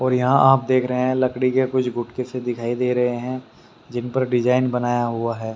और यहां आप देख रहे हैं लकड़ी के कुछ गुटके से दिखाई दे रहे हैं। जिन पर डिजाइन बनाया हुआ है।